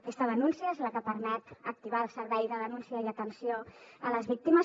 aquesta denúncia és la que permet activar el servei de denúncia i atenció a les víctimes